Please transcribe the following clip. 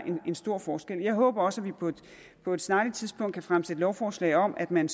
en stor forskel jeg håber også at vi på på et snarligt tidspunkt kan fremsætte lovforslag om at man